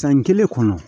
San kelen kɔnɔ